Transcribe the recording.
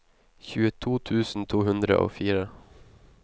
tjueto tusen to hundre og fire